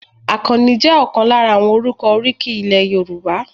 Akanni jẹ́ ọ̀kan lára àwọn orúkọ oríkì ilẹ̀ Yorùbá.